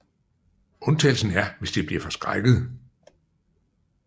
Undtagelsen er hvis de bliver forskrækkede